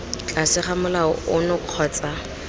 tlase ga molao ono kgotsa